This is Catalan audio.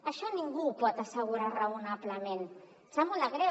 això ningú ho pot assegurar raonablement em sap molt de greu